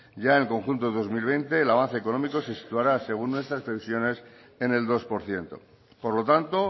ya en el conjunto del dos mil veinte el avance económico se situará según nuestras previsiones en el dos por ciento por lo tanto